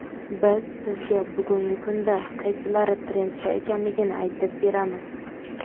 Biz sizga bugungi kunda qaysilari trendda ekanligini aytib beramiz.